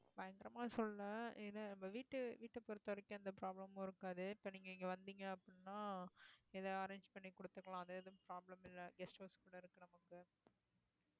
பயங்கரமா சொல்லலா ஏன்னா நம்ம வீட்டு~ வீட்டை பொறுத்தவரைக்கும் எந்த problem மும் இருக்காத இப்ப நீங்க இங்க வந்தீங்க அப்படின்னா ஏதா arrange பண்ணி கொடுத்துக்கலாம் அது எதுவும் problem இல்ல guest house கூட இருக்கு நமக்கு